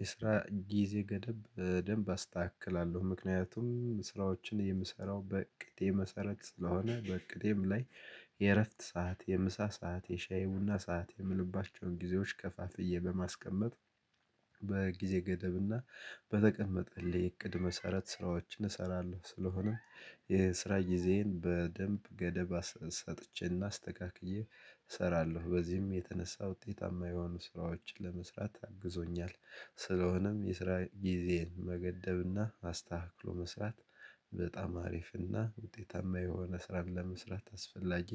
የስራ ጊዜ ገደብ በደንብ አስተካክላለሁ ምክንያቱም ስራዎችን የምሰራው በእቅዴ መሰረት ስለሆነ በእቅዴም ላይ የእረፍት ሰዓት የምሳ ሰዓት የሻይ ቡና ሰዓት እምልባቸውን ጊዜዎች ከፋፍዬ በማስቀመጥ በጊዜ ገደብና በተቀመጠልኝ እቅድ መሰረት ስራዎችን እሰራለሁ። ስለሆነም የስራ ጊዜዬን በደንብ ገደብ ሰጥቼና አስተካክዬ እሰራለሁ በዚህም የተነሳ ውጤታማ የሆኑ ስራዎችን ለመስራት አግዞኛል። ስለሆነም የስራ ጊዜን መገደብና አስተካክሎ መስራት በጣም አሪፍና ውጤታማ የሆነ ስራን ለመስራት አስፈላጊ